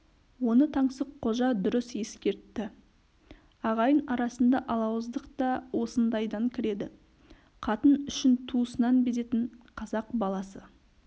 оны таңсыққожа дұрыс ескертті ағайын арасында алауыздық та осындайдан кіреді қатын үшін туысынан безетін қазақ баласы